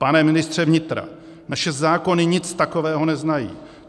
Pane ministře vnitra, naše zákony nic takového neznají.